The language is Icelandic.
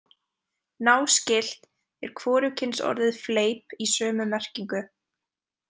Náskylt er hvorugkynsorðið fleip í sömu merkingu.